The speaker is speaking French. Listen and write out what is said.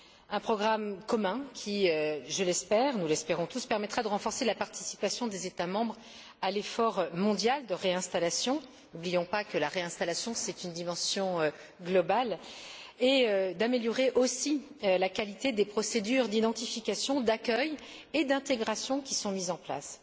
Un programme commun, qui je l'espère, nous l'espérons tous permettra de renforcer la participation des États membres à l'effort mondial de réinstallation n'oublions pas que la réinstallation comporte une dimension globale et d'améliorer aussi la qualité des procédures d'identification, d'accueil et d'intégration qui sont mises en place.